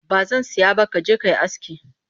Ba zan saya ba ka je ka yi aski